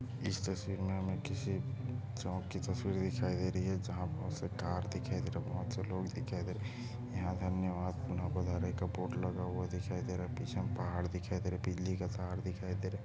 इस तस्वीर में हमें किसी चौक की तस्वीर दिखाई दे रही है जहाँ बहुत से कार दिखाई दे रहा है बहुत से लोग दिखाई दे रहे है यहाँ से हमनें पुन: पधारे का बोर्ड लगा हुआ दिखाई दे रहा है पीछे में पहाड़ दिखाई दे रहा है बिजली का तार दिखाई दे रहा है।